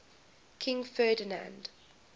king ferdinand